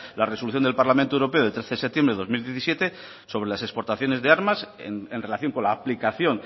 la resolución del parlamento europeo de trece de septiembre de dos mil diecisiete sobre las exportaciones de armas en relación con la aplicación